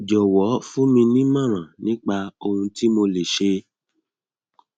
jòwó fún mi ní ìmọràn nípa ohun tí mo lè ṣe